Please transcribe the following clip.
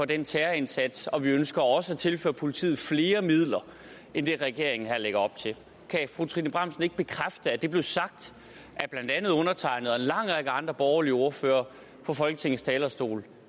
den terrorindsats og vi ønsker også at tilføre politiet flere midler end det regeringen her lægger op til kan fru trine bramsen ikke bekræfte at det blev sagt af blandt andet undertegnede og en lang række andre borgerlige ordførere fra folketingets talerstol